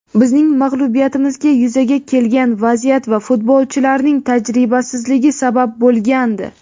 bizning mag‘lubiyatimizga yuzaga kelgan vaziyat va futbolchilarning tajribasizligi sabab bo‘lgandi.